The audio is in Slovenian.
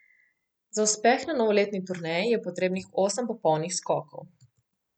Za uspeh na novoletni turneji je potrebnih osem popolnih skokov.